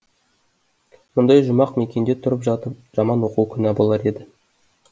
мұндай жұмақ мекенде тұрып жатып жаман оқу күнә болар еді